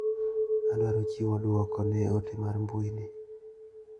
Adwaro chiwo duoko ne ote mar mbui ni.